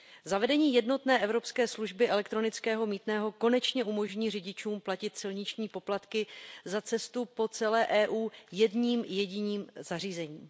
Zavedení jednotné evropské služby elektronického mýtného konečně umožní řidičům platit silniční poplatky za cestu po celé EU jedním jediným zařízením.